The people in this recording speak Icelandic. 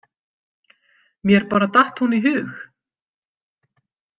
Mér bara datt hún í hug.